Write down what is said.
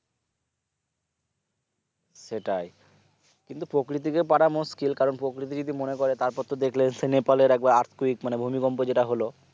সেটাই কিন্তু প্রকৃতিকে পারা মুশকিল কারণ প্রকৃতি যদি মনেকরে তারপর তো দেখলে নেপাল লের একবার earthquake ভূমিকম্প যেটা হলো